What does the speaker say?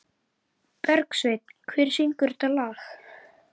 Bergsveinn, hver syngur þetta lag?